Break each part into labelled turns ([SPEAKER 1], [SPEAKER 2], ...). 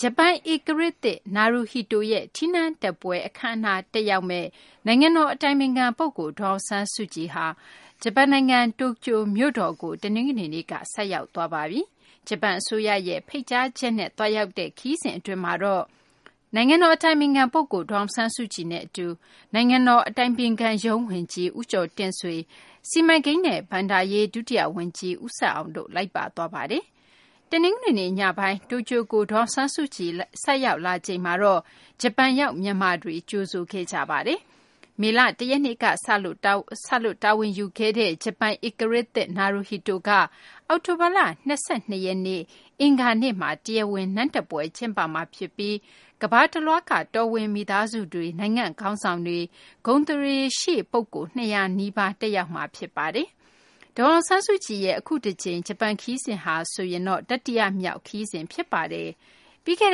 [SPEAKER 1] ဂျပန်ဧကရာဇ် နာရူဟီတို (Naruhito) ရဲ့ ထီးနန်းတက်ပွဲ အခမ်းအနား တက်ရောက်မယ့် နိုင်ငံတော် အတိုင်ပင်ခံပုဂ္ဂိုလ် ဒေါ်အောင်ဆန်းစုကြည်ဟာ ဂျပန်နိုင်ငံ တိုကျိုမြို့တော်ကို တနင်္ဂနွေနေ့က ဆိုက်ရောက်သွားပါပြီ။ ဂျပန်အစိုးရရဲ့ ဖိတ်ကြားချက်အရ သွားရောက်တဲ့ ဂျပန်ခရီးစဉ်အတွင်းမှာတော့ နိုင်ငံတော် အတိုင်ပင်ခံပုဂ္ဂိုလ် ဒေါ်အောင်ဆန်းစုကြည်နဲ့အတူ နိုင်ငံတော် အတိုင်ပင်ခံရုံး ဝန်ကြီး ဦးကျော်တင့်ဆွေ၊ စီမံကိန်းနဲ့ ဘဏ္ဍာရေး ဒုတိယဝန်ကြီး ဦးဆက်အောင်တို့ လိုက်ပါသွားပါတယ်။ တနင်္ဂနွေနေ့ ညပိုင်းက တိုကျိုကို ဒေါ်အောင်ဆန်းစုကြည် ဆိုက်ရောက်လာချိန်မှာတော့ ဂျပန်ရောက် မြန်မာတွေ ကြိုဆိုခဲ့ကြပါတယ်။ မေလ ၁ ရက်နေ့ကစလို့ တာဝန်ယူခဲ့တဲ့ ဂျပန်ဧကရာဇ်သစ် နာရူဟီတိုက အောက်တိုဘာလ ၂၂ ရက်နေ့ အင်္ဂါနေ့မှာ တရားဝင်နန်းတက်ပွဲ ကျင်းပမှာဖြစ်ပြီး ကမ္ဘာတလွှားက တော်ဝင်မိသားစုတွေ၊ နိုင်ငံခေါင်းဆောင်တွေ၊ ဂုဏ်သရေရှိပုဂ္ဂိုလ် ၂၀၀ နီးပါး တက်ရောက်ကြမှာ ဖြစ်ပါတယ်။ ဒေါ်အောင်ဆန်းစုကြည်ရဲ့ အခုတကြိမ် ခရီးစဉ်ဟာဆိုရင် တတိယမြောက် ဂျပန်နိုင်ငံ ခရီးစဉ် ဖြစ်ပါတယ်။ ပြီးခဲ့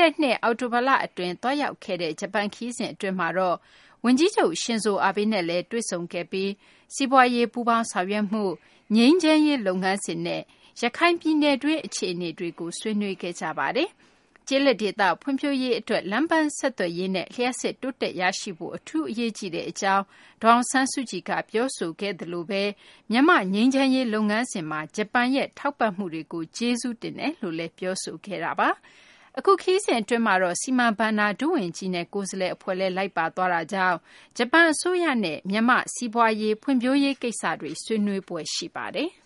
[SPEAKER 1] တဲ့နှစ် အောက်တိုလအတွင်း သွားရောက်ခဲ့တဲ့ ဂျပန်ခရီးစဉ် အတွင်းမှာတော့ ဂျပန်ဝန်ကြီးချုပ် Shinzo Abe နဲ့လည်း တွေ့ဆုံခဲ့ပြီး စီးပွားရေး ပူးပေါင်းဆောင်ရွက်မှု၊ ငြိမ်းချမ်းရေးလုပ်ငန်းစဉ်နဲ့ ရခိုင်ပြည်နယ်တွင်း အခြေအနေတွေကို ဆွေးနွေးခဲ့ကြပါတယ်။ ကျေးလက်ဒေသ ဖွံ့ဖြိုးရေးအတွက် လမ်းပန်းဆက်သွယ်ရေးနဲ့ လျှပ်စစ်တိုးတက်ရရှိဖို့ အထူးအရေးကြီးကြောင်း ဒေါ်အောင်ဆန်းစုကြည်က ပြောဆိုခဲ့သလို မြန်မာ့ငြိမ်းချမ်းရေး လုပ်ငန်းစဉ်မှာ ဂျပန်ရဲ့ ထောက်ပံ့မှုတွေကို ကျေးဇူးတင်ရှိကြောင်းလည်း ပြောဆိုခဲ့တာပါ။ အခုခရီးစဉ်အတွင်းမှာတော့ စီမံဘဏ္ဍာ ဒုဝန်ကြီးနဲ့ ကိုယ်စားလှယ်အဖွဲ့လည်း လိုက်ပါသွားတာကြောင့် ဂျပန်အစိုးရနဲ့ မြန်မာ့ဖွံ့ဖြိုးရေး ကိစ္စတွေ ဆွေးနွေးဖွယ် ရှိပါတယ်။